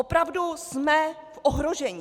Opravdu jsme v ohrožení.